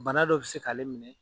Bana dɔ bɛ se k'ale minɛ.